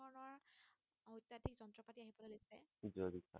জৈৱিক সাৰ